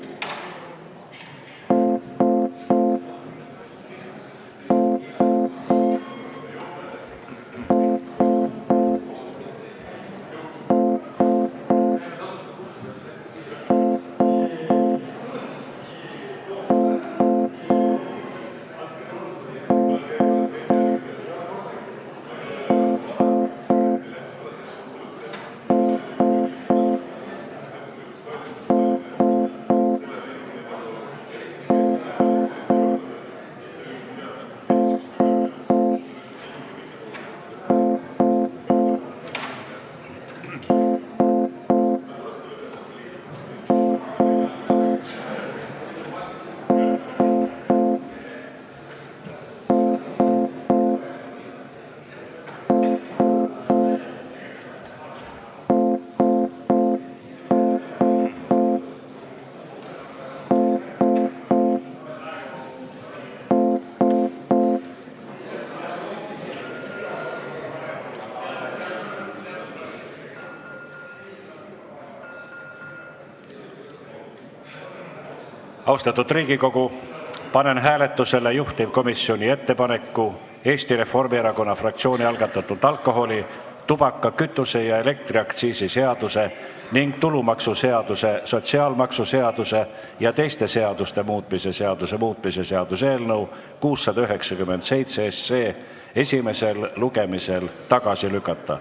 Austatud Riigikogu, panen hääletusele juhtivkomisjoni ettepaneku Eesti Reformierakonna fraktsiooni algatatud alkoholi-, tubaka-, kütuse- ja elektriaktsiisi seaduse ning tulumaksuseaduse, sotsiaalmaksuseaduse ja teiste seaduste muutmise seaduse muutmise seaduse eelnõu 697 esimesel lugemisel tagasi lükata.